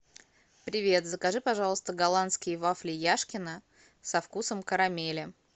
привет закажи пожалуйста голландские вафли яшкино со вкусом карамели